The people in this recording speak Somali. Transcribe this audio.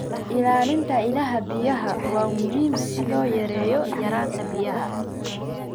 Ilaalinta ilaha biyaha waa muhiim si loo yareeyo yaraanta biyaha.